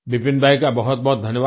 विपिन भाई का बहुतबहुत धन्यवाद